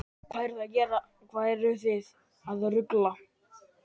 Hvað eruð þið að rugla?